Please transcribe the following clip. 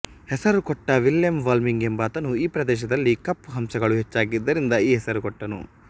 ಹೆಸರು ಕೊಟ್ಟ Willem Vlamingh ಎಂಬಾತನು ಈ ಪ್ರದೇಶದಲ್ಲಿ ಕಪ್ಪು ಹಂಸಗಳು ಹೆಚ್ಚಾಗಿದ್ದರಿಂದ ಈ ಹೆಸರು ಕೊಟ್ಟನು